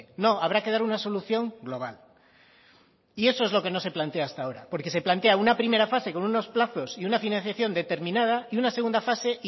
no habrá que dar una solución global y eso es lo que no se plantea hasta ahora porque se plantea una primera fase con unos plazos y una financiación determinada y una segunda fase